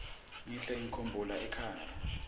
ngihle ngikhumbula ekhaya